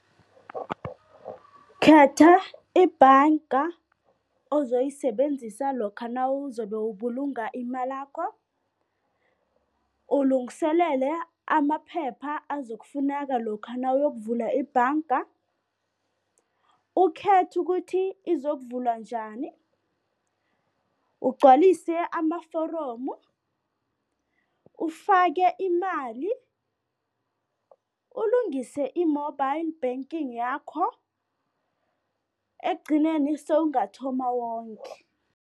Khetha ibhanga ozoyisebenzisa lokha nawuzobe ubulunga imalakho, ulungiselele amaphepha azokufuneka lokha nawuyokuvula ibhanga, ukhethe ukuthi izokuvulwa njani, ugcwalise amaforomu, ufake imali, ulungise i-mobile banking yakho, ekugcineni sewungathoma wonge.